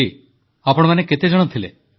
ହରି ଆପଣମାନେ କେତେ ଜଣ ଥିଲେ